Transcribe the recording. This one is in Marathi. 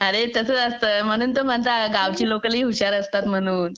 अरे तसंच असतं म्हणून तो म्हणतात ना गावाकडची लोक लय हुशार असतात म्हणून